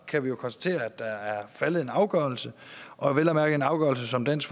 kan vi jo konstatere at der er faldet en afgørelse og vel at mærke en afgørelse som dansk